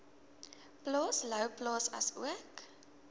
plaas louwplaas asook